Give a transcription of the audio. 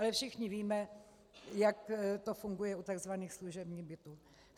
Ale všichni víme, jak to funguje u tzv. služebních bytů.